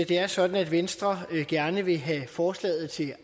det er sådan at venstre gerne vil have forslaget til